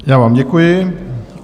Já vám děkuji.